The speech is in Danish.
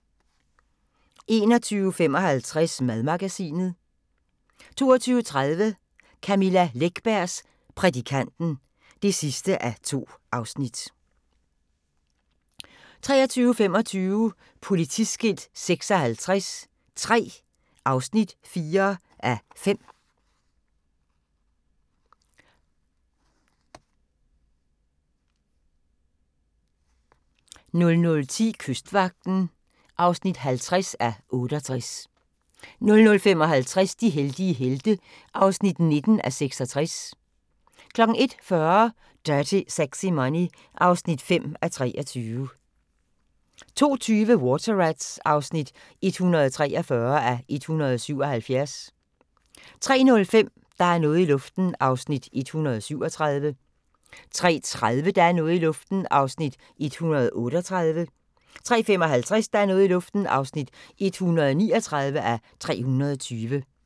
21:55: Madmagasinet 22:30: Camilla Läckbergs Prædikanten (2:2) 23:25: Politiskilt 56 III (4:5) 00:10: Kystvagten (50:68) 00:55: De heldige helte (19:66) 01:40: Dirty Sexy Money (5:23) 02:20: Water Rats (143:177) 03:05: Der er noget i luften (137:320) 03:30: Der er noget i luften (138:320) 03:55: Der er noget i luften (139:320)